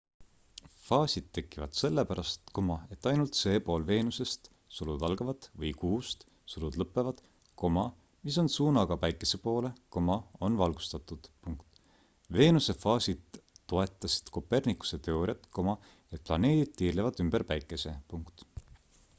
faasid tekivad sellepärast et ainult see pool veenusest või kuust mis on suunaga päikese poole on valgustatud. veenuse faasid toetasid copernicuse teooriat et planeedid tiirlevad ümber päikese